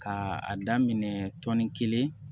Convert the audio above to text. Ka a daminɛ tɔni kelen